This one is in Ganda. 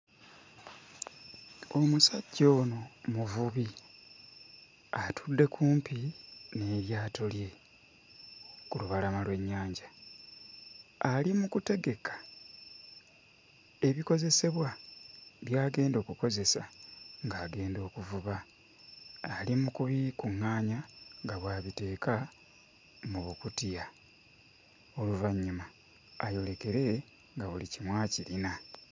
Omusajja ono muvubi, atudde kumpi n'eryato lye ku lubalama lw'ennyanja. Ali mu kutegeka ebikozesebwa by'agenda okukozesa ng'agenda okuvuba, ali mu kubikuŋŋaanya nga bw'abiteeka mu bukutiya oluvannyuma ayolekere nga buli kimu akirina.